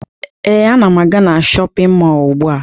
Ee, ana m aga na shọpịn mọọ ugbua